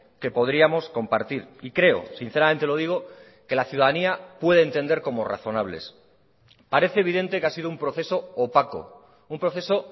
que podríamos compartir y creo sinceramente lo digo que la ciudadanía puede entender como razonables parece evidente que ha sido un proceso opaco un proceso